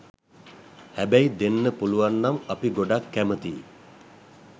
හැබැයි දෙන්න පුළුවන්නම් අපි ගොඩක් කැමතියි.